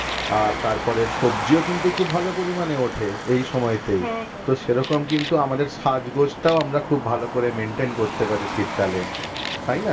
আর তারপরে সবজিও কিন্তু খুব ভালো পরিমানে ওঠে এই সময়তে হ্যাঁ হ্যাঁ তো সেরকম কিন্তু আমাদের সাজগোজটাও আমরা খুব ভালো করে maintain করতে পারি শীতকালে তাই না?